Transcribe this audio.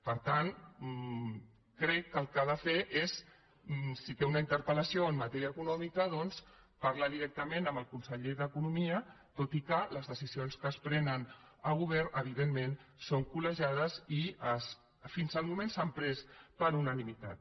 per tant crec que el que ha de fer és si té una interpel·lació en matèria econòmica parlar directament amb el conseller d’economia tot i que les decisions que es prenen al govern evidentment són col·legiades i fins al moment s’han pres per unanimitat